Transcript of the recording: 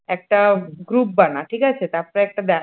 একটা group বানা ঠিক আছে তারপরে একটা